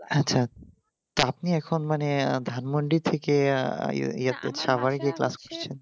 আচ্ছা তো আপনি এখন মনে ধানমুন্ডি থেকে আহ class করছেন